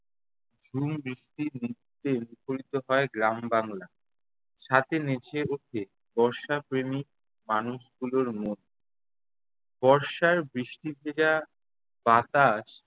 ঝুম বৃষ্টির নৃত্যে মুখরিত হয় গ্রাম-বাংলা। সাথে নেচে ওঠে বর্ষাপ্রেমী মানুষগুলোর মন। বর্ষার বৃষ্টিভেজা বাতাস